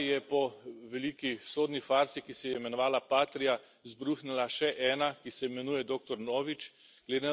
V moji državi je po veliki sodni farsi, ki se je imenovala Patria, izbruhnila še ena, ki se imenuje dr.